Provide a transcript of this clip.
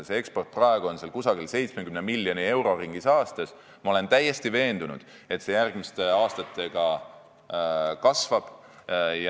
Sinna eksporditakse 70 miljoni euro ringis aastas ja ma olen täiesti veendunud, et eksport sinna järgmiste aastatega kasvab.